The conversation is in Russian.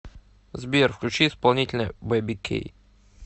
сбер включи исполнителя бэби кей